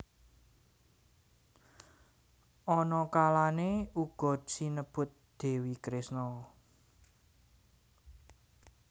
Ana kalane uga sinebut Dewi Kresna